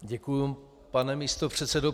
Děkuji, pane místopředsedo.